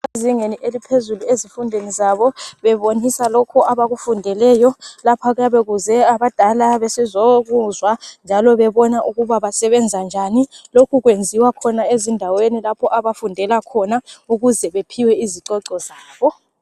Ezingeni eliphezulu ezifundweni zabo bebonisa lokhu abakufundeleyo. Lapha kuyabe kuze abadala besizokuzwa njalo bebona ukuba basebenza njani lokhu kwenziwa ezindaeni lapho abafundela khona ukuze bephiwe izicoco zabo.